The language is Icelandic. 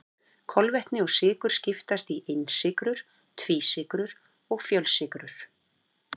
Kolvetni eða sykrur skiptast í einsykrur, tvísykrur og fjölsykrur.